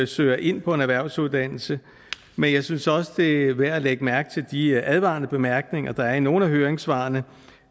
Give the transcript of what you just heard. søger ind på en erhvervsuddannelse men jeg synes også det er værd at lægge mærke til de advarende bemærkninger der er i nogle af høringssvarene